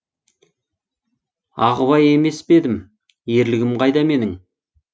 ағыбай емес пе едім ерлігім қайда менің